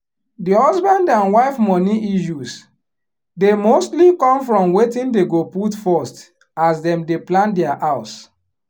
di husband and wife money issues dey mostly come from wetin dey go put first as dem dey plan dia house